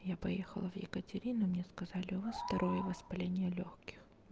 я поехала в екатерину мне сказали у вас второе воспаление лёгких